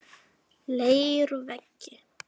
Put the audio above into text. Leiruvegi